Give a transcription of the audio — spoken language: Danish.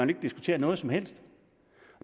vil diskutere noget som helst